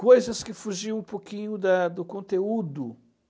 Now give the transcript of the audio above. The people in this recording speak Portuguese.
Coisas que fugiam um pouquinho da do conteúdo